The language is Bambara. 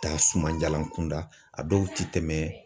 Taa sumanjalan kunda, a dɔw ti tɛmɛ.